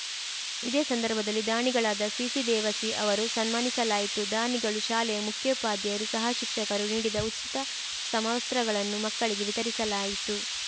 ಇದೇ ಸಂದರ್ಭದಲ್ಲಿ ದಾನಿಗಳಾದ ಸಿಸಿ ದೇವಸಿ ಅವರು ಸನ್ಮಾನಿಸಲಾಯಿತು ದಾನಿಗಳು ಶಾಲೆಯ ಮುಖ್ಯೋಪಾಧ್ಯಾಯರು ಸಹ ಶಿಕ್ಷಕರು ನೀಡಿದ ಉಚಿತ ಸಮವಸ್ತ್ರಗಳನ್ನು ಮಕ್ಕಳಿಗೆ ವಿತರಿಸಲಾಯಿತು